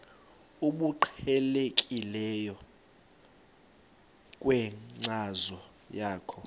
obuqhelekileyo kwinkcazo yakho